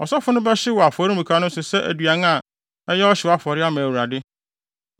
Ɔsɔfo no bɛhyew no wɔ afɔremuka no so sɛ aduan a ɛyɛ ɔhyew afɔre ama Awurade.